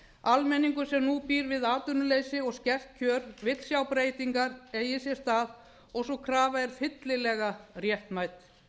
almenningur sem nú býr við atvinnuleysi og skert kjör vill sjá breytingar eiga sér stað og sú krafa er fyllilega réttmæt